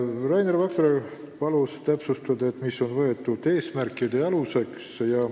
Rainer Vakra palus täpsustada, mille alusel eesmärgid on seatud.